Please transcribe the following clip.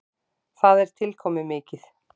Það er tilkomumikið.